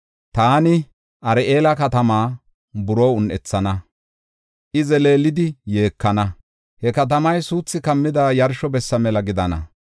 Taani Ar7eela katamaa buroo un7ethana; I zeleelidi yeekana. He katamay suuthi kammida yarsho bessa mela gidana.